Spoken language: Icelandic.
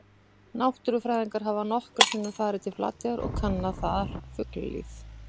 Náttúrufræðingar hafa nokkrum sinnum farið til Flateyjar og kannað þar fuglalíf.